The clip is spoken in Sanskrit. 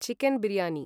चिकेन् बीर्याणि